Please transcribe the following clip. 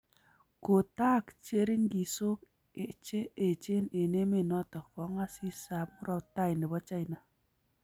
Ko taak cheringisook che echen eng emet notok, kongasis ak murotai nebo China